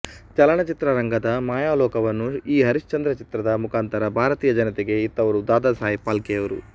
ಚಲನಚಿತ್ರರಂಗದ ಮಾಯಾಲೋಕವನ್ನು ಈ ಹರಿಶ್ಚಂದ್ರ ಚಿತ್ರದ ಮುಖಾಂತರ ಭಾರತೀಯ ಜನತೆಗೆ ಇತ್ತವರು ದಾದಾಸಾಹೇಬ್ ಫಾಲ್ಕೆಯವರು